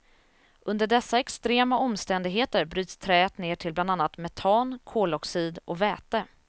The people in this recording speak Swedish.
Under dessa extrema omständigheter bryts träet ner till bland annat metan, koloxid och väte.